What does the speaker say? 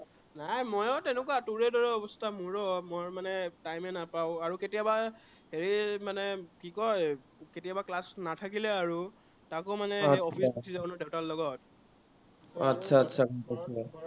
নাই ময়ো তেনেকা, তোৰে দৰে অৱস্থা, ময়ো time এ নাপাঁও। কেতিয়াবা হে মানে কি কয়, কেতিয়াবা class নাথাকিলে আৰু, তাকো মানে office গুচি যাঁও না দেউতাৰ লগত। आतछा